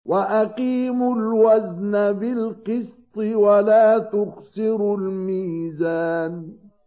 وَأَقِيمُوا الْوَزْنَ بِالْقِسْطِ وَلَا تُخْسِرُوا الْمِيزَانَ